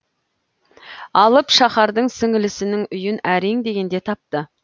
алып шаһардан сіңілісінің үйін әрең дегенде тапты